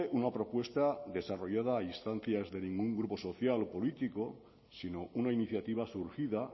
una propuesta desarrollada a instancias de ningún grupo social o político sino una iniciativa surgida